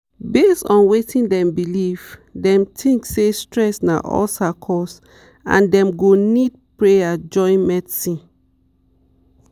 based on wetin dem believe dem think say stress na ulcer cause and dem go need prayer join medicine.